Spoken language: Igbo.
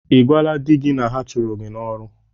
Ị gwala di gị na ha chụrụ gị n'ọrụ?